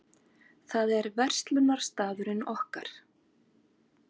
Það er verslunarstaðurinn okkar.